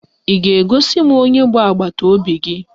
Ị ga-egosi m onye bụ agbataobi?